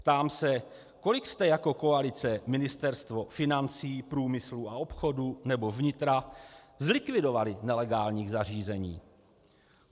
Ptám se, kolik jste jako koalice Ministerstvo financí, průmyslu a obchodu nebo vnitra zlikvidovali nelegálních zařízení?